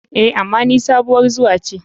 A,ama ni sabuwar zuwa ce.